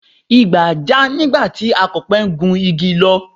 Igbà já nígbà tí Akọ̀pẹ ń gun igi lọ